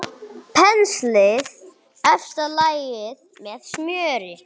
Penslið efsta lagið með smjöri.